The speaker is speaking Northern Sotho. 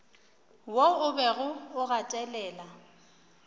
wo o bego o gatelela